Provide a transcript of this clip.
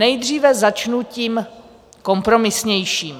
Nejdříve začnu tím kompromisnějším.